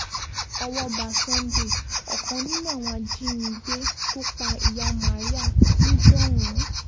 ọwọ́ ba sunday ọ̀kan nínú àwọn ajínigbé tó pa ìyá maria níjọ̀hún